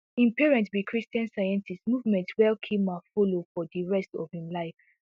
im parents be christian scientists movement wey kilmer follow for di rest of im life